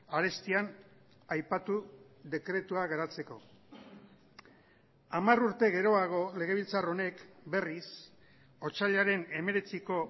arestian aipatu dekretua garatzeko hamar urte geroago legebiltzar honek berriz otsailaren hemeretziko